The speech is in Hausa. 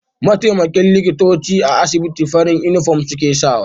Mataimakan likitoci a asibitin farin inufom suke sawa